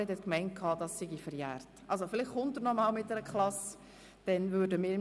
Gemäss Grossrat Bärtschi ist das verjährt.